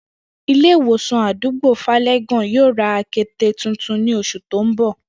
Ilé ìwòsàn àdúgbò Fále̩gàn yóò ra akete tuntun ní os̩ù tó ń bò̩